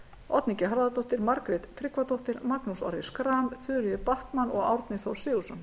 oddný g harðardóttir margrét tryggvadóttir magnús orri schram þuríður backman og árni þór sigurðsson